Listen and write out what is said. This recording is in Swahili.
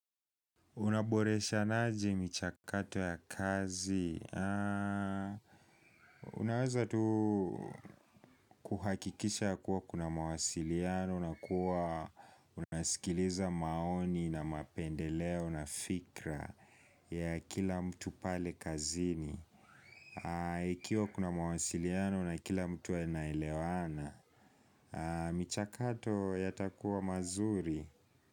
Unaboreshanaje michakato ya kazi? Unaweza tu kuhakikisha ya kuwa kuna mawasiliano na kuwa unasikiliza maoni na mapendeleo na fikra ya kila mtu pale kazini. Ikiwa kuna mawasiliano na kila mtu anaelewana, michakato yatakuwa mazuri.